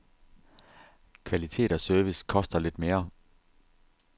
Kvalitet og service koster lidt mere.